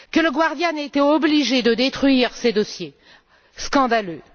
Que Le Guardian ait été obligé de détruire ses dossiers, c'est scandaleux!